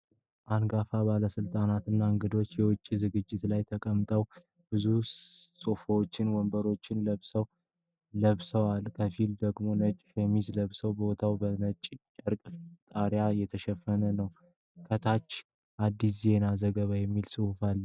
አንጋፋ ባለሥልጣናትና እንግዶች በአንድ የውጭ ዝግጅት ላይ ተቀምጠዋል። ብዙዎቹ ሱፎችንና መደበኛ ልብሶችን ለብሰዋል። ከፊሎቹ ደግሞ ነጭ ሸሚዞችን ለብሰዋል። ቦታው በነጭ ጨርቅ ጣሪያ የተሸፈነ ነው። ከታች “አዲስ የዜና ዘገባ” የሚል ጽሑፍ አለ።